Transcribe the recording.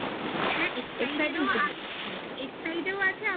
হ্যাঁ exide excited ও আছে আবার